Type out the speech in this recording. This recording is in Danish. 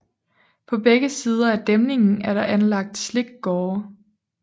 På begge sider af dæmningen er der anlagt slikgårde